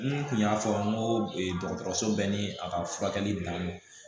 N kun y'a fɔ n ko dɔgɔtɔrɔso bɛ ni a ka furakɛli daminɛ